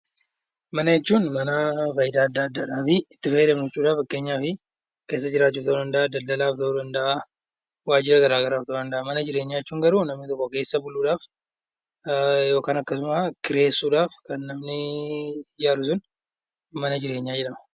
Mana jechuun faayidaa adda addaadhaafi itti fayyadamnu jechuudha. Fakkeenyaaf keessa jiraachuu ta'uu danda'a, daldalaaf ta'uu danda'a, waajjira garaa garaaf ta'uu danda'a. Mana jireenyaa jechuun garuu namni tokko keessa buluudhaaf yookaan akkasuma kireessuudhaaf manni ijaaru sun mana jireenyaa jedhama.